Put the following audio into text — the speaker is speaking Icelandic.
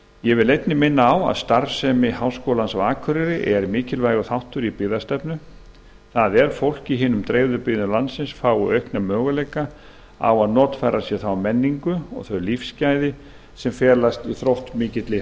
ég vil einnig minna á að starfsemi háskólans á akureyri er mikilvægur þáttur í byggðastefnu það er að fólk í hinum dreifðu byggðum landsins fái aukna möguleika á að notfæra sér þá menningu og þau lífsgæði sem felast í þróttmikilli